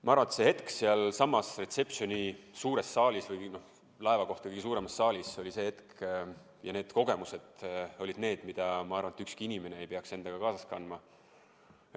Ma arvan, et see hetk sealsamas reception'i suures saalis või laeva kõige suuremas saalis oli see hetk ja need kogemused olid need, mida, ma arvan, ükski inimene ei peaks endaga kaasas kandma.